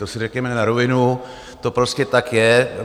To si řekněme na rovinu, to prostě tak je.